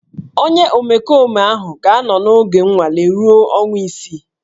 Onye omekome ahụ ga-anọ n'oge nnwale ruo ọnwa isii